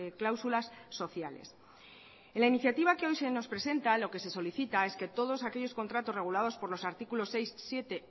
cláusulas sociales en la iniciativa que hoy se nos presenta lo que se solicita es que todos aquellos contratos regulados por los artículos seis siete